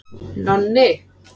Nonni